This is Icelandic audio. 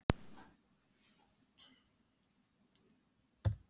Allt gott að frétta hér.